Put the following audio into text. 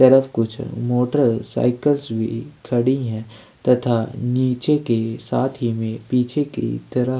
तरफ कुछ motorcycles भी खड़ी है तथा नीचे के साथ ही में पीछे की तरफ --